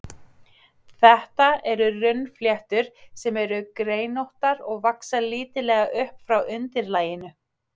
Þetta eru runnfléttur, sem eru greinóttar og vaxa lítillega upp frá undirlaginu.